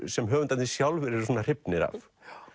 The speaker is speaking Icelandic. sem höfundarnir sjálfir eru svona hrifnir af